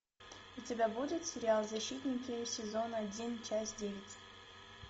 у тебя будет сериал защитники сезон один часть девять